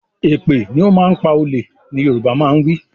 Èpè ni ó máa ń pa olè ni Yorùbá máa ń wí